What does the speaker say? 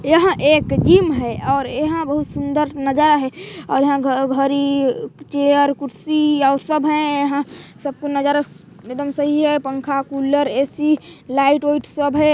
यह एक जिम है और यहाँ बहुत सुंदर नजारा है और यहाँ घ घर इ चेयर कुर्सी और सब है यहाँ सब का नजारा एकदम सही है पंखा कूलर ए.सी. लाइट उइट सब हैं।